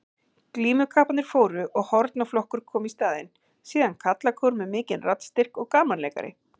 Glímukapparnir fóru og hornaflokkur kom í staðinn, síðan karlakór með mikinn raddstyrk og gamanleikari.